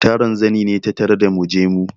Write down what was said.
Taron zani ne ta tarda mu je mu.